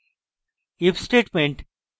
if statement